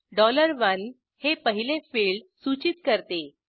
1 हे पहिले फिल्ड सूचित करते